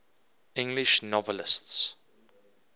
english novelists